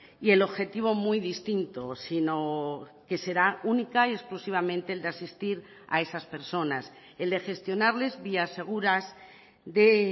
y el objetivo muy distinto sino que será única y exclusivamente el de asistir a esas personas el de gestionarles vías seguras de